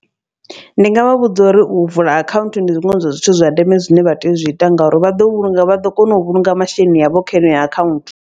Ndi ngavha vhudza uri u vula akhaunthu ndi zwiṅwe zwa zwithu zwa ndeme zwine vha tea u zwi ita, ngauri vha ḓo vhulunga vha ḓo kona u vhulunga masheleni avho kha iyo akhaunthu.